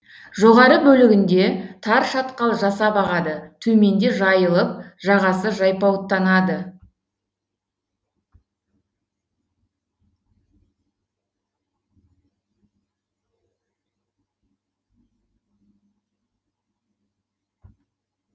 жоғары бөлігінде тар шатқал жасап ағады төменде жайылып жағасы жайпауыттанады